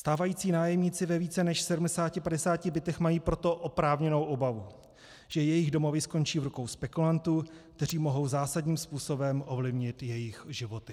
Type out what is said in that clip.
Stávající nájemníci ve více než 750 bytech mají proto oprávněnou obavu, že jejich domovy skončí v rukou spekulantů, kteří mohou zásadním způsobem ovlivnit jejich životy.